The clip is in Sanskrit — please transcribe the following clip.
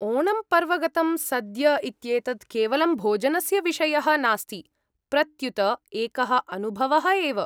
ओणम् पर्वगतं सद्य इत्येतत् केवलं भोजनस्य विषयः नास्ति प्रत्युत एकः अनुभवः एव।